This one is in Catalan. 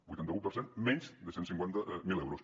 vuitanta un per cent menys de cent i cinquanta mil euros